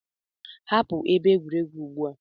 Hapụ ebe egwuregwu ugbu a!